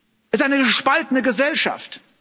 Es ist eine gespaltene Gesellschaft.